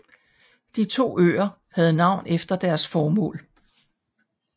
De to øer havde navn efter deres formål